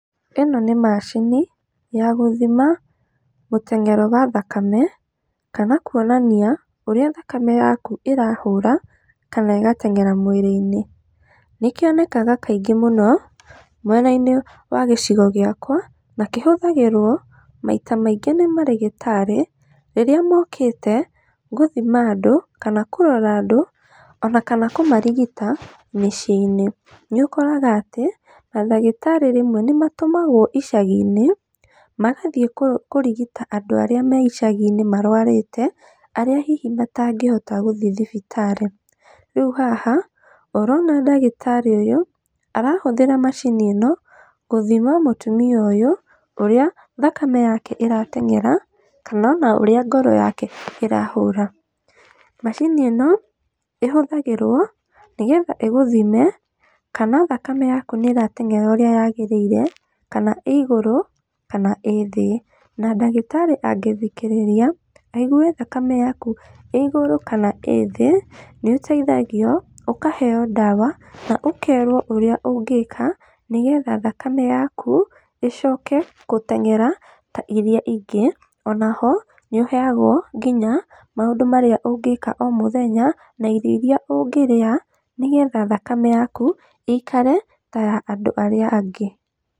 ĩno nĩ macini ya gũthima gũteng'era gwa thakame kana kuonania ũrĩa thakame yaku ĩrahũra, kana ĩgateng'era mwĩrĩ-inĩ. Nĩ kĩonekaga kaingĩ mũno mũna-inĩ wa gĩcigo gĩakwa, na kĩhũthagĩrwo maita maingĩ nĩ marĩgĩtarĩ rĩrĩa mokĩte gũthima andũ kana kũrora andũ ona kana kũmarigita mĩciĩ-inĩ. Nĩ ũkoraga atĩ mandagĩtarĩ rĩmwe nĩ matũmagwo icagi-inĩ, magathiĩ kũrigita andũ arĩa me icagi-inĩ marwarĩte arĩa hihi matangĩhota gũthiĩ thibitarĩ. Rĩu haha ũrona ndagĩtarĩ ũyũ arahũthĩra macini ĩno, gũthima mũtumia ũyũ ũrĩa thakame yake ĩrateng'era, kana ona ũrĩa ngoro yake ĩrahũra. Macini ĩno ĩhũthagĩrwo nĩgetha ĩgũthime kana thakame yaku nĩ ĩrateng'era ũrĩa yagĩrĩire, kana ĩ igũrũ kana ĩ thĩ. Na ndagĩtarĩ angĩthikĩrĩria aigue thakame yaku ĩ igũrũ kana ĩ thĩ nĩ ũteithagio, ũkaheyo ndawa, na ũkerwo ũrĩa ũngĩka nĩgetha thakame yaku ĩcoke gũteng'era ta iria ingĩ. Ona ho, nĩ ũheagwo nginya maũndũ marĩa ũngĩka o mũthenya na irio iria ũngĩrĩa, nĩgetha thakame yaku ĩikare ta ya andũ arĩa angĩ.